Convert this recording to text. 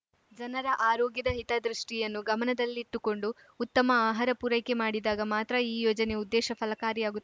ಜನರ ಆರೊಗ್ಯದ ಹಿತದೃಷ್ಟಿಯನ್ನು ಗಮನದಲ್ಲಿಟ್ಟುಕೊಂಡು ಉತ್ತಮ ಆಹಾರ ಪೂರೈಕೆ ಮಾಡಿದಾಗ ಮಾತ್ರ ಈ ಯೋಜನೆ ಉದ್ದೇಶ ಫಲಕಾರಿಯಾಗುತ್ತ